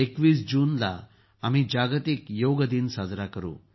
२१ जूनला आम्ही जागतिक योगा दिन साजरा करू